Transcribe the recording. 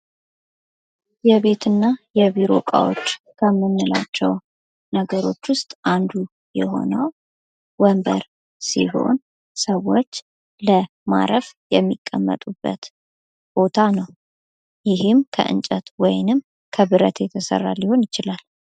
የቤትና የቢሮ እቃዎች ከምንላቸው ነገሮች ውስጥ አንዱ የሆነው ወንበር ሲሆን ሰዎች ለማረፍ የሚቀመጡበት ቦታ ነው። ይህም ከእንጨት ወይንም ከብረት የተሰራ ሊሆን ይችላል።